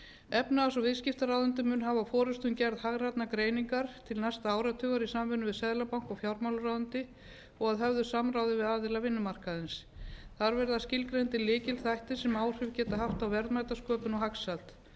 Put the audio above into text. efnahags og viðskiptaráðuneytið mun hafa forustu um gerð hagrænnar greiningar til næsta áratugar í samvinnu við seðlabanka og fjármálaráðuneyti og að höfðu samráði við aðila vinnumarkaðarins þar vera skilgreindir lykilþættir sem áhrif geta haft á verðmætasköpun og hagsæld